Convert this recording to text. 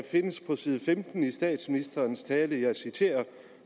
findes på side femten i statsministerens tale og jeg citerer